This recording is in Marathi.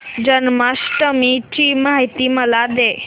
जन्माष्टमी ची माहिती मला दे